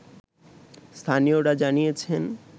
স্থানীয়রা জানিয়েছেন